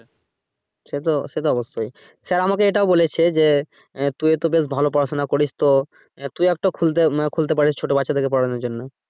সেতো সেতো অবশ্যই sir আমাকে এটাও বলেছে যে আহ তুইও তো বেশ ভালো পড়াশুনা করিস তো আহ তুই একটা আহ মান খুলতে পারিস ছোট বাচ্চাদেরকে পড়ানোর জন্য।